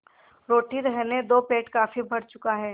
रोटी रहने दो पेट काफी भर चुका है